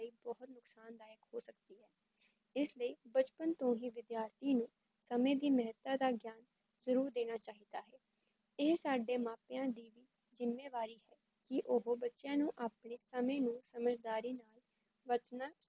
ਇਸ ਲਈ ਬਚਪਨ ਤੋਂ ਹੀ ਵਿੱਦੀਆਰਥੀ ਨੂੰ ਸਮੈ ਦੀ ਮੇਹਤਾ ਦਾ ਗਿਆਨ ਜਰੂਰ ਦੇਨਾ ਚਾਹੀਦਾ ਹੈ, ਏਹ ਸਾਡੇ ਮਾਂ ਪੇਆਂ ਦੀ ਜਿੱਮੇਵਾਰੀ ਕੀ ਓਹੋ ਬਚੇਂਆਂ ਨੂੰ ਆਪਣੇ ਸਮੇੈ ਨੂੰ ਸਮਝਦਾਰੀ ਬਰਤਨਾ